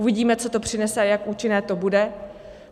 Uvidíme, co to přinese a jak účinné to bude.